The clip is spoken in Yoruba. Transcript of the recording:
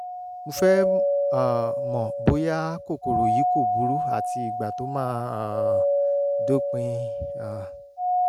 mo fẹ́ um mọ̀ bóyá kòkòrò yìí kò burú àti ìgbà tó máa um dópin um